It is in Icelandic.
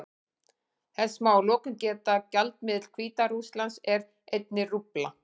Þess má að lokum geta að gjaldmiðill Hvíta-Rússlands er einnig rúbla.